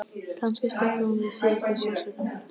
Kannski slyppi hún við síðasta sársaukann.